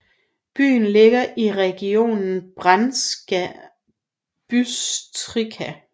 Byen ligger i regionen Banská Bystrica